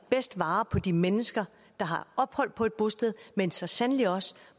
vare på de mennesker der har ophold på et bosted men så sandelig også